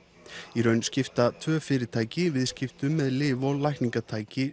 í raun skipta tvö fyrirtæki viðskiptum með lyf og lækningatæki